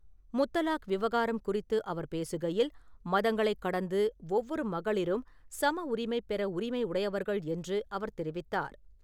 முத்தலாக் விவகாரம் குறித்து அவர் பேசுகையில், மதங்களைக் கடந்து ஒவ்வொரு மகளிரும் சம உரிமை பெற உரிமை உடையவர்கள் என்று அவர் தெரிவித்தார்.